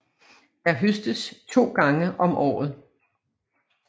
Der høstes to gange om året